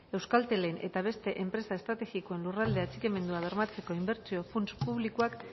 euskaltelen eta beste enpresa estrategikoen lurralde atxikimendua bermatzeko inbertsio funts publikoak